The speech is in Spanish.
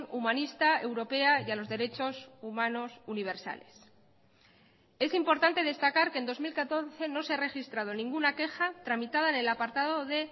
humanista europea y a los derechos humanos universales es importante destacar que en dos mil catorce no se ha registrado ninguna queja tramitada en el apartado de